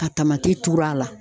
Ka tamati tur'a la.